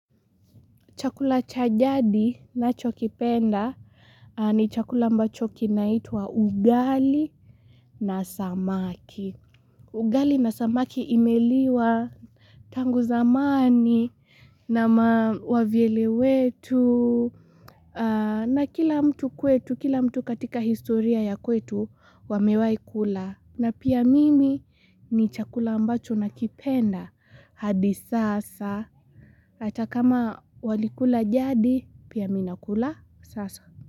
Chakula cha jadi ninchokipenda ni chakula ambacho kinaitwa ugali na samaki. Ugali na samaki imeliwa tangu zamani na ma wavyele wetu. Na kila mtu kwetu, kila mtu katika historia ya kwetu wamewai kula. Na pia mimi ni chakula ambacho nakipenda hadi sasa. Hata kama walikula jadi pia mimi nakula sasa.